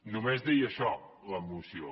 només deia això la moció